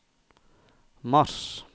mars